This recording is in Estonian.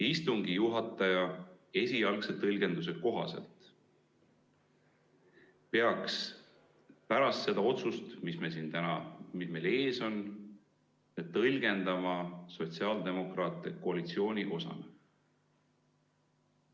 Istungi juhataja esialgse tõlgenduse kohaselt peaks pärast seda otsust, mis meil täna ees on, tõlgendama sotsiaaldemokraate koalitsiooni osana.